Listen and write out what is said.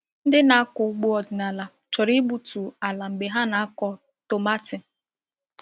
Ndị na-akọ ugbo ọdịnala chọrọ igbutu ala mgbe ha na-akọ tomati.